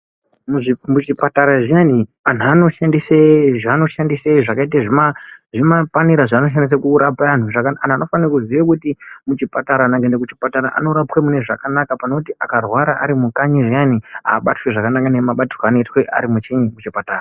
Muzvipatara zviyani antu anoshandise zvaanoshandise zvakaite zvimapanera zvaanoshandise kurapa antu. Antu anofanire kuziye kuti kuchipatara anhu angaende muchipatara anorapwe mune zvakanaka pane kuti akarwara arimukanyi zviyani aabatwi zvakanaka nemabatirwe ari muchiini muchipatara